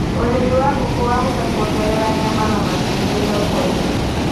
ũrĩmĩwa ngũkũ wahota kuongerera nyama na matubĩthoko - ĩni